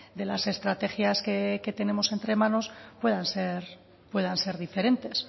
de las estrategias que tenemos entre manos puedan ser diferentes